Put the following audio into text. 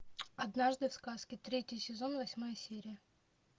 однажды в сказке третий сезон восьмая серия